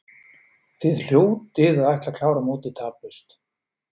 Þið hljótið að ætla að klára mótið taplaust?